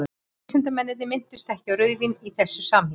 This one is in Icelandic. vísindamennirnir minntust ekki á rauðvín í þessu samhengi